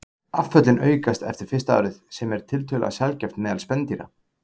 Afföllin aukast eftir fyrsta árið, sem er tiltölulega sjaldgæft meðal spendýra.